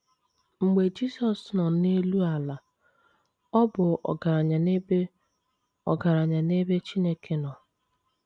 Mgbe Jisọs nọ n’elu ala, ọ bụ “ ọgaranya n’ebe “ ọgaranya n’ebe Chineke nọ. ”